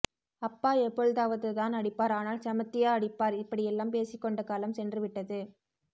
அப்பா எப்பொழுதாவதுதான் அடிப்பார் ஆனால் செமத்தியா அடிப்பார் இப்படி எல்லாம் பேசிக்கொண்ட காலம் சென்றுவிட்டது